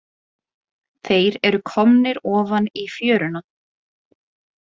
Þeir eru komnir ofan í fjöruna.